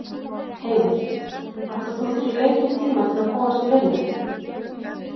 Heimir: Ætlaðir þú þér lengri tíma til að komast í vinnu?